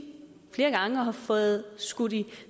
og har fået skudt i